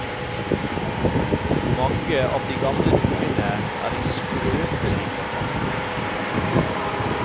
Mange av de gamle dukkene er i skrøpelig forfatning.